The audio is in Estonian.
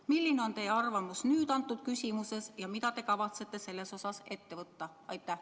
Milline on teie arvamus nüüd antud küsimuses ja mida te kavatsete selles osas ette võtta?